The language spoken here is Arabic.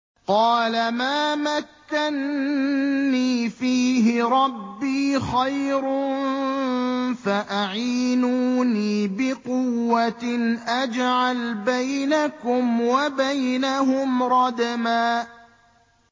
قَالَ مَا مَكَّنِّي فِيهِ رَبِّي خَيْرٌ فَأَعِينُونِي بِقُوَّةٍ أَجْعَلْ بَيْنَكُمْ وَبَيْنَهُمْ رَدْمًا